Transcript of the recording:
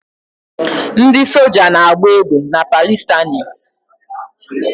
Ndị soja na-agba egbe na Palịstaịnụ